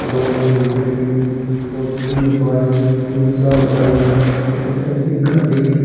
दो स्कूटरी और तीन बाइक तीन चार बाइक और व एक गाड़ी --